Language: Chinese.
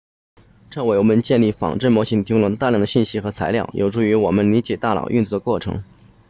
这为我们建立仿真模型提供了大量的信息和材料有助于我们理解大脑运作的过程